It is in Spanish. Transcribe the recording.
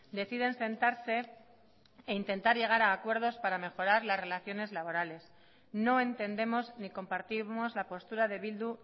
deciden sentarse e intentar llegar a acuerdos para mejorar las relaciones laborales no entendemos ni compartimos la postura de bildu